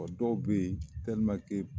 Ɔ dɔw bɛ yen